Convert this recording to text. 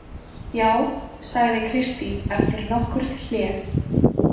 Já, sagði Kristín eftir nokkurt hlé.